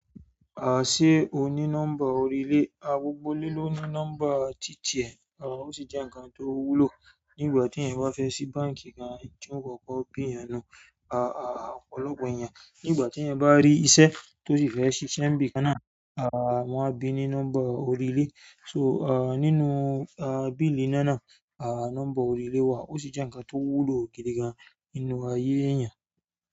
À ṣé ó ní nọ́mbà orílẹ̀, a gbogbo ilé ló ní nọ́mbà títì ẹ̀. A, ó sì jẹ nǹkan tí ó wúlò, nígbàtí èèyàn bá fẹ sí báǹkì gan n tí wọn ó kọkọ béèrè nu-un a ọ̀pọ̀lọpọ̀ èèyàn, nígbà téèyàn bá rí iṣẹ́, tó sì fẹ sisẹ ní ibìkan náà, a wọn a bí ni nọ́mbà orí ilé so, a nínú biili iná náà a nọ́mbà orí ilé wa, ó sì jẹ nǹkan tó wúlò gidigan nínú ayé èèyàn.